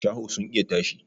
Shaho sun iya tashi